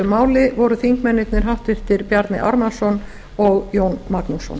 máli voru háttvirtur þingmaður bjarni ármannsson og jón magnússon